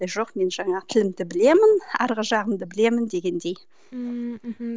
жоқ мен жаңағы тілімді білемін арғы жағымды білемін дегендей ммм мхм